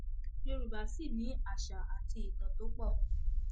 yorùbá sì ni àṣà àti ìtàn tó pọ